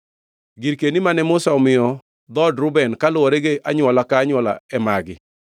Girkeni mane Musa omiyo dhood Reuben kaluwore gi anywola ka anywola e magi: